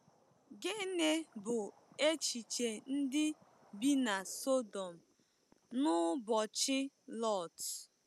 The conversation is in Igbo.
Gịnị bụ echiche ndị bi na Sọdọm n’ụbọchị Lọt?